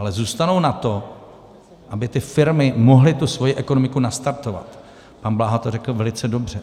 Ale zůstanou na to, aby ty firmy mohly tu svoji ekonomiku nastartovat, pan Bláha to řekl velice dobře.